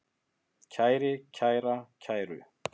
kæri, kæra, kæru